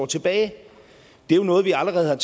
tilbage det var noget vi allerede